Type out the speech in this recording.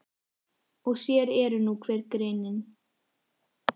Og sér eru nú hver griðin!